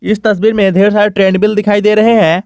इस तस्वीर में ढेर सारे ट्रेडमिल दिखाई दे रहे हैं।